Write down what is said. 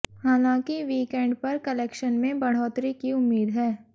हालांकि वीकेंड पर कलेक्शन में बढ़ोतरी की उम्मीद है